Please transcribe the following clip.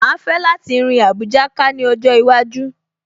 Màá fẹ́ láti rin Àbújá ká ní ọjọ́ iwájú